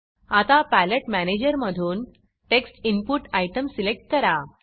आता पॅलेट मॅनेजरमधून text input text input item select करा